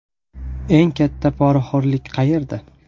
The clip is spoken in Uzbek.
Eng katta poraxo‘rlik qayerda?